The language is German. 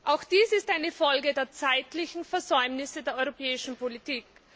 Auch dies ist eine Folge der zeitlichen Versäumnisse der europäischen Politik.